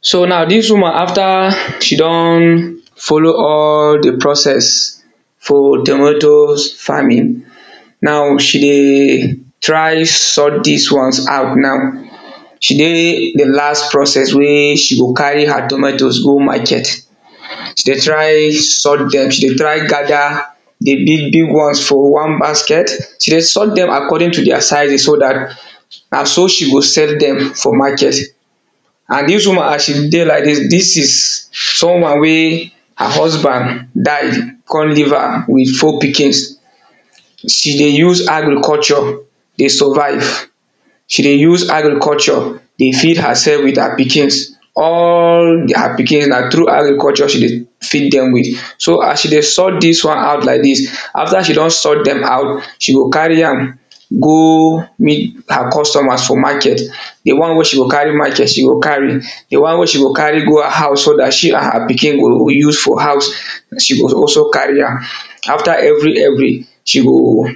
so na dis woman after she don, follow all the process for tomatoes farming. now she dey try sort dis ones out now she dey the last process wey she go carry her tomatoes go market, she dey try sort dem, she dey try gather the big big ones for one basket, she dey sort dem according to deir sizes so dat na so she go sell dem for market and dis woman as she dey like dis, dis is someone wey, her husband die, con leave am with four pikins. she dey use agriculture dey survive, she dey use agriculture dey feed hersef with her pikins, all her pikin na through agriculture she dey feed dem with. so as she dey sort dis one out like dis, after she don sort dem out she go carry am go meet her customers for market, the one wey she go carry market she go carry, the one wey she go carry go her house so dat she and her pikin go use for house, she go also carry am. after every every she go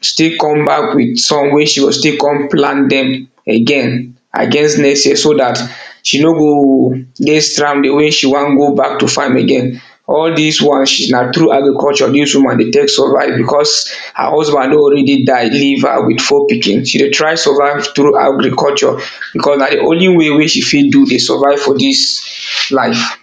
still come back with some wey she go still con plant dem again against next year so dat she no go dey stranded wey she wan go back to farm again, all dis ones na through agriculture dis woman dey tek survive because her husband don ready die leave her with four pikin, she dey try survive through agriculture because na the only way wey she fit do dey survive for dis life.